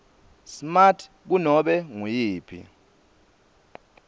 smart kunobe nguyiphi